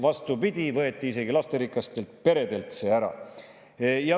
Vastupidi, see võeti isegi lasterikastelt peredelt ära.